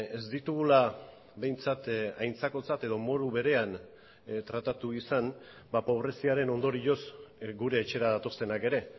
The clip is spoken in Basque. ez ditugula behintzat aintzakotzat edo modu berean tratatu izan pobreziaren ondorioz gure etxera datozenak ere